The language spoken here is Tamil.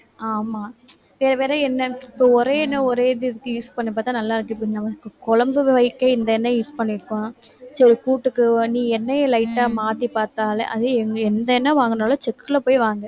ஆமா use பண்ணி பார்த்தா நல்லாருக்கு குழம்பு வைக்க இந்த எண்ணெய் use பண்ணியிருக்கோம் எண்ணெயை light ஆ மாத்தி பார்த்தாலே அதே எண்ணெய் எந்த எண்ணெய் வாங்கினாலும் செக்குல போய் வாங்கு